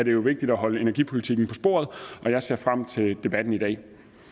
jo vigtigt at holde energipolitikken på sporet og jeg ser frem til debatten i dag